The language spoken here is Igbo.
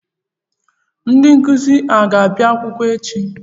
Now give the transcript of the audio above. Ndị nkụzi a ga-abịa akwụkwọ echi?